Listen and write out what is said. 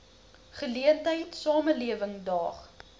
geleentheid samelewing daag